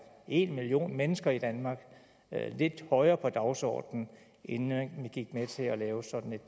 en million mennesker i danmark lidt højere på dagsordenen inden man gik med til at lave sådan et